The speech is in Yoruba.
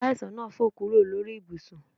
Aláìsàn náà fò kúrò lórí ibùsùn